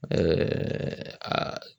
aa